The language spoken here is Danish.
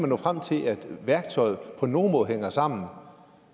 nå frem til at værktøjet på nogen måde hænger sammen